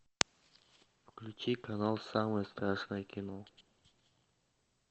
включи канал самое страшное кино